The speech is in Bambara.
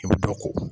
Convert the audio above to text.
I bɛ dɔ ko